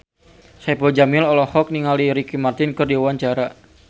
Saipul Jamil olohok ningali Ricky Martin keur diwawancara